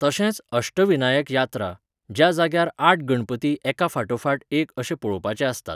तशेंच अष्टविनायक यात्रा, ज्या जाग्यार आठ गणपती एका फाटोफाट एक अशे पळोवपाचे आसतात.